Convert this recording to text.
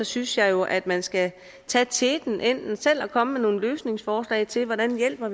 synes jeg jo at man skal tage teten enten selv at komme med nogle løsningsforslag til hvordan vi hjælper